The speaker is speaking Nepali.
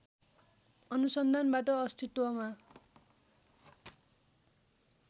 अनुसन्धानबाट अस्तित्वमा